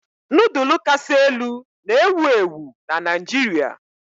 Nudulu kasị elu na-ewu ewu na Naijiria.